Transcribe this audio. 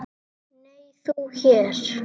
Nei, þú hér?